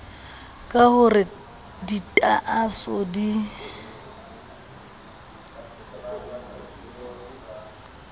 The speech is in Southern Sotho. ka ho re ditaaso di